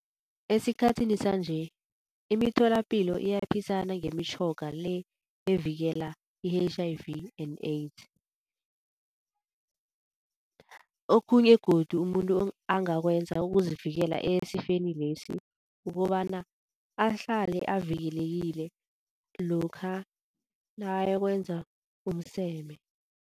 Esikhathini sanje imitholapilo iyaphisana ngemitjhoga le evikela i-H_I_V and AIDS. Okhunye godu umuntu angakwenza ukuzivikela esifeni lesi kukobana ahlale avikelekile lokha nakayokwenza umseme.